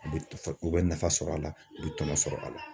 U bɛ u bɛ nafa sɔrɔ a la, u bɛ tɔnɔ sɔrɔ a la.